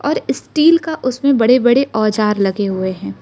Steel का उसमें बड़े बड़े औजार लगे हुए है।